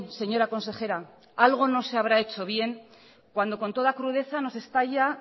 señora consejera algo no se habrá hecho bien cuando con toda crudeza nos estalla